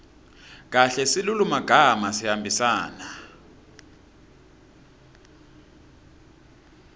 kahle silulumagama sihambisana